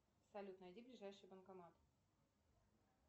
салют найди ближайший банкомат